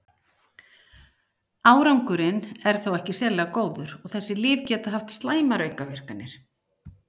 árangurinn er þó ekki sérlega góður og þessi lyf geta haft slæmar aukaverkanir